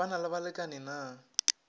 ba na le balekani na